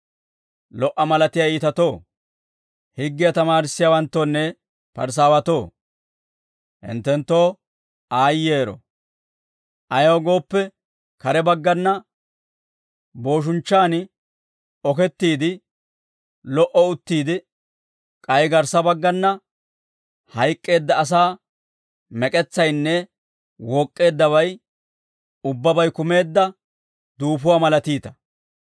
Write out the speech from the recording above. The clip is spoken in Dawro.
«Lo"a malatiyaa iitatoo, higgiyaa tamaarissiyaawanttoonne Parisaawatoo, hinttenttoo aayyero. Ayaw gooppe, kare baggana booshinchchaan okettiide, lo"o uttiide, k'ay garssa baggana hayk'k'eedda asaa mek'etsaynne wook'k'eeddabay ubbabay kumeedda duufotuwaa malatiita.